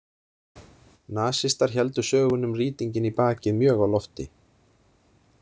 Nasistar héldu sögunni um rýtinginn í bakið mjög á lofti.